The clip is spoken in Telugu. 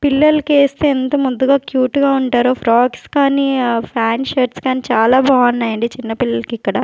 పిల్లలకి ఏస్తే ఎంత ముద్దుగా క్యూట్ గా ఉంటారో ఫ్రాక్స్ కానీ ఫ్యాన్ట్ షర్ట్స్ కానీ చాలా బాగున్నాయండి చిన్న పిల్లలకి ఇక్కడ.